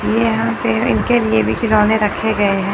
यहां पे इनके लिए भी खिलौने रखे गए हैं।